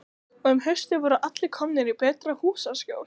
Og um haustið voru allir komnir í betra húsaskjól.